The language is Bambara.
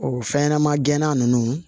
O fɛn ɲɛnɛma gɛnna nunnu